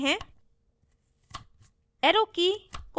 अब निष्पादित करते हैं